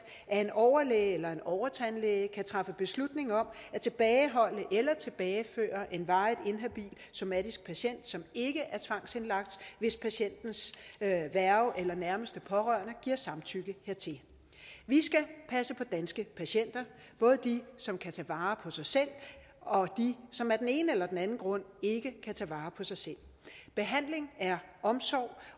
at en overlæge eller en overtandlæge kan træffe beslutning om at tilbageholde eller tilbageføre en varigt inhabil somatisk patient som ikke er tvangsindlagt hvis patientens værge eller nærmeste pårørende giver samtykke hertil vi skal passe på danske patienter både dem som kan tage vare på sig selv og dem som af den ene eller den anden grund ikke kan tage vare på sig selv behandling er omsorg